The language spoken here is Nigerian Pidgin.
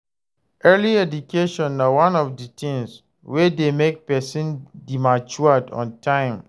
Early education na one of di things wey de make persin de matured on time